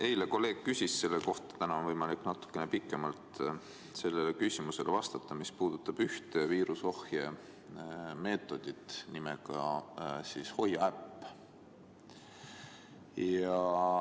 Eile üks kolleeg juba küsis selle kohta, aga täna on teil võimalik natukene pikemalt vastata küsimusele, mis puudutab ühte viiruse ohje vahendit nimega Hoia äpp.